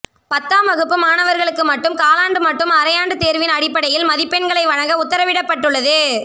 பத்தாம் வகுப்பு மாணவர்களுக்கு மட்டும் காலாண்டு மட்டும் அரையாண்டுத் தேர்வின் அடிப்படையில் மதிப்பெண்களை வழங்க உத்தரவிடப்பட்டுள்ளது